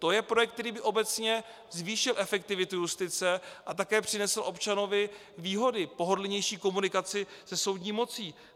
To je projekt, který by obecně zvýšil efektivitu justice a také přinesl občanovi výhody - pohodlnější komunikaci se soudní mocí.